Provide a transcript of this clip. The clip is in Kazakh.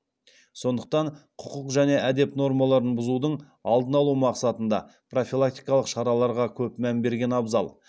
сондықтан құқық және әдеп нормаларын бұзудың алдын алу мақсатында профилактикалық шараларға көп мән берген абзал